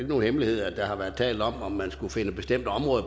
nogen hemmelighed at der har været talt om om man skulle finde bestemte områder